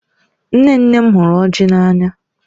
Nne nne m hụrụ ọjị n'anya